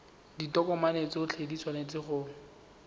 ditokomane tsotlhe di tshwanetse go